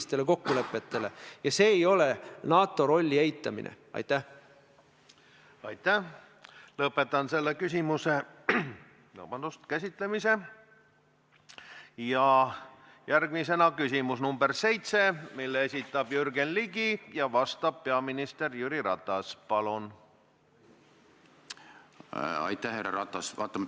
See süüdistus kas tuleb anda käiku või tuleb see võtta maha, mitte pugeda kellegi selja taha ja öelda, et vaat kui, ma ei tea, Mart Järvik täna ei ole enam minister või ma ei tea, mis peab veel juhtuma, vot siis ma olen nõus vabandama.